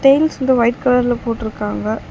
Tiles வந்து white கலர்ல போட்ருக்காங்க.